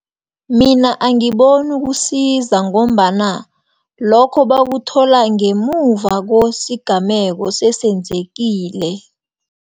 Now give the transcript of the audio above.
Mina angiboni kusiza ngombana, lokho bakuthola ngemuva kwesigameko sesenzekile.